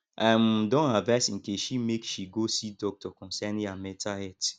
i um don advice nkechi make she go see doctor concerning her mental health